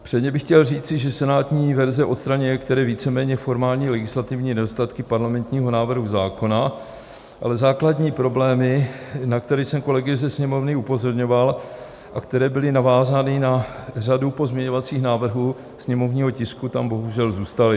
Předně bych chtěl říci, že senátní verze odstraňuje některé víceméně formální legislativní nedostatky parlamentního návrhu zákona, ale základní problémy, na které jsem kolegy ze Sněmovny upozorňoval a které byly navázány na řadu pozměňovacích návrhů sněmovního tisku, tam bohužel zůstaly.